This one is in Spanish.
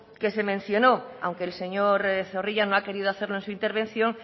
que se mencionó aunque el señor zorrilla no ha querido hacerlo en su intervención